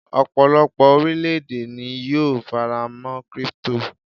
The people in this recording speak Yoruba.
ọpọlọpọ orilẹ ède ni yíò farama' crypto